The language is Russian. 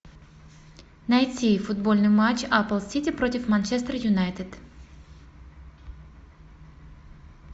найти футбольный матч апл сити против манчестер юнайтед